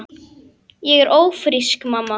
Ég er ófrísk, mamma!